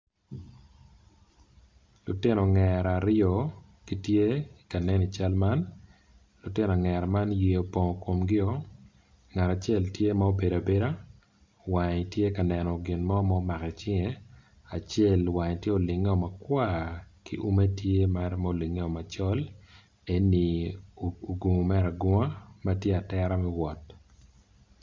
Lutino ongera aryo gitye ka nen lutino ongera man yer opong ikomgi o ngat acel obedo tye ma obedo abeda wange tye ka neno gin mo mako icinge acel wange tyte ma olinge o makwar ki ume tye mere ma olinge o macol eni ogungo mere agunga ma tye atera me wot.